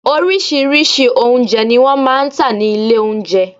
Orírìsíírìí oúnjẹ ni wọ́n máa ń tà ní ilé oúnjẹ.